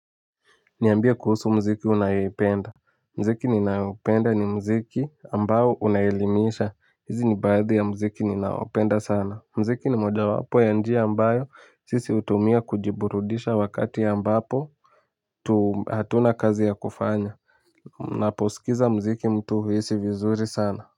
Niambie kuhusu mziki unayoipenda mziki ninaopenda ni mziki ambao unaelimisha hizi ni baadhi ya mziki ninaopenda sana mziki ni moja wapo ya njia ambayo sisi hutumia kujiburudisha wakati ya ambapo tu hatuna kazi ya kufanya unaposikiza mziki mtu huhisi vizuri sana.